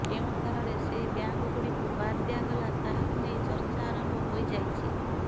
କେଉଁ ଆଧାରରେ ସେହି ବ୍ୟାଙ୍କଗୁଡ଼ିକୁ ବାଦ ଦିଆଗଲା ତାହାକୁ ନେଇ ଚର୍ଚ୍ଚା ଆରମ୍ଭ ହୋଇଯାଇଛି